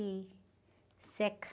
E seca.